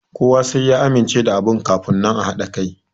Kowa sai ya amince da abu kamun nan a haɗa kai